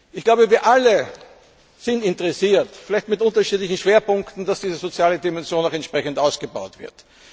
Ich glaube, wir alle sind daran interessiert vielleicht mit unterschiedlichen Schwerpunkten dass diese soziale Dimension noch entsprechend ausgebaut wird.